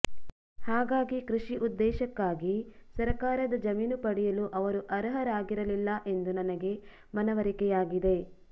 ಹಾಗಾಗಿ ಕೃಷಿ ಉದ್ದೇಶಕ್ಕಾಗಿ ಸರಕಾರದ ಜಮೀನು ಪಡೆಯಲು ಅವರು ಅರ್ಹರಾಗಿರಲಿಲ್ಲ ಎಂದು ನನಗೆ ಮನವರಿಕೆಯಾಗಿದೆ